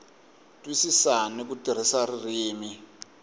twisisa ni ku tirhisa ririmi